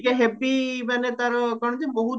ଟିକେ ହେବି ମାନେ ତାର କଣ କି ବହୁତ